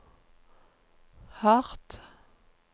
hardt